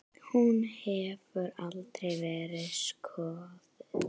Hún hefur aldrei verið skoðuð.